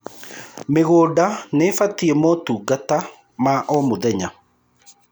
mĩgũnda nĩibatie motungata ma o mũthenya